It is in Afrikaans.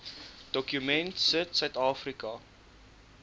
dokument sit suidafrika